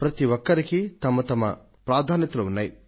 ప్రతి ఒక్కరికీ వారి వారి ప్రాధాన్యతలు ఉన్నాయి